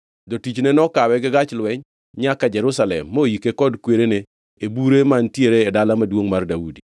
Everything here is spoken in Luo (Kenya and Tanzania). Jotichne nokawe gi gach lweny nyaka Jerusalem moike kod kwerene e bure mantiere e Dala Maduongʼ mar Daudi.